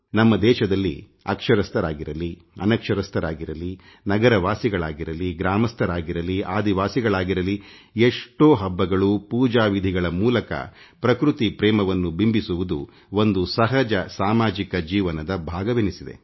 ನಮ್ಮ ದೇಶದಲ್ಲಿ ಅಕ್ಷರಸ್ಥರಾಗಿರಲಿ ಅನಕ್ಷರಸ್ಥರಾಗಿರಲಿನಗರವಾಸಿಗಳಾಗಿರಲಿ ಗ್ರಾಮಸ್ಥರಾಗಿರಲಿ ಆದಿವಾಸಿಗಳಾಗಿರಲಿ ಎಷ್ಟೋ ಹಬ್ಬಗಳು ಪೂಜಾ ವಿಧಿಗಳ ಮೂಲಕ ಪ್ರಕೃತಿ ಪ್ರೇಮವನ್ನು ಬಿಂಬಿಸುವುದು ಒಂದು ಸಹಜ ಸಾಮಾಜಿಕ ಜೀವನದ ಭಾಗವಾಗಿದೆ